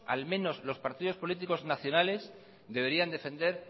al menos los partidos políticos nacionales deberían defender